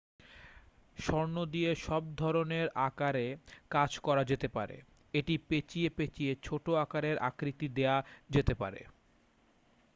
স্বর্ণ দিয়ে সব ধরণের আকারে কাজ করা যেতে পারে এটি পেঁচিয়ে পেঁচিয়ে ছোট আঁকারের আকৃতি দেওয়া যেতে পারে